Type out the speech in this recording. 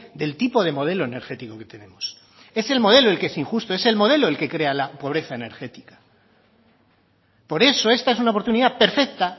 del tipo de modelo energético que tenemos es el modelo el que es injusto es el modelo el que crea la pobreza energética por eso esta es una oportunidad perfecta